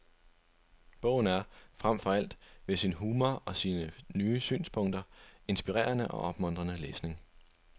Bogen er, frem for alt ved sin humor og sine nye synspunkter, inspirerende og opmuntrende læsning.